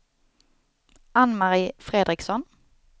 Anne-Marie Fredriksson